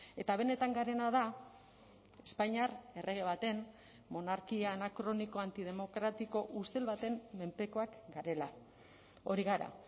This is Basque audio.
eta benetan garena da espainiar errege baten monarkia anakroniko antidemokratiko ustel baten menpekoak garela hori gara